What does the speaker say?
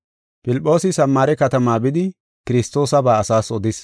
Filphoosi Samaare katama bidi Kiristoosaba asaas odis.